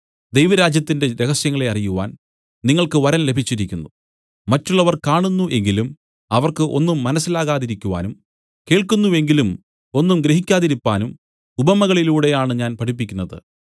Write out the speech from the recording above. ദൈവരാജ്യത്തിന്റെ രഹസ്യങ്ങളെ അറിയുവാൻ നിങ്ങൾക്ക് വരം ലഭിച്ചിരിക്കുന്നു മറ്റുള്ളവർ കാണുന്നു എങ്കിലും അവർക്ക് ഒന്നും മനസ്സിലാകാതിരിക്കുവാനും കേൾക്കുന്നു എങ്കിലും ഒന്നും ഗ്രഹിക്കാതിരിപ്പാനും ഉപമകളിലൂടെ ആണ് ഞാൻ പഠിപ്പിക്കുന്നത്